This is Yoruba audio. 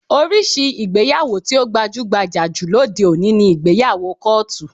Oríṣi ìgbéyàwó tí ó gbajú-gbajà jù lóde òní ni ìgbéyàwó kọ́ọ̀tù